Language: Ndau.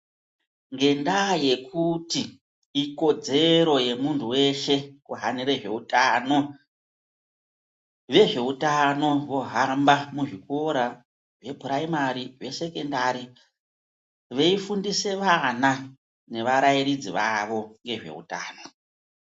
Ngendaya yekuti ikodzero yemuntu weshe kuhanire zveutano vezveutano vohamba muzvikora, vupuraimari zvesekondari veifundise vana nevarairidzi vavo ngezveutano.